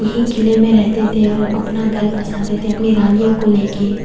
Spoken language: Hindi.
यही किले में रहते थे और अपना घर बसाते थे अपनी रानियों को लेके--